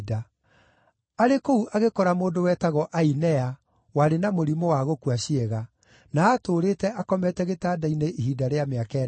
Arĩ kũu agĩkora mũndũ wetagwo Ainea warĩ na mũrimũ wa gũkua ciĩga, na aatũũrĩte akomete gĩtanda-inĩ ihinda rĩa mĩaka ĩnana.